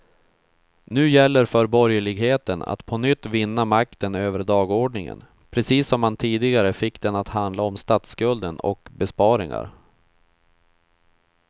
Nu gäller för borgerligheten att på nytt vinna makten över dagordningen, precis som man tidigare fick den att handla om statsskulden och besparingar.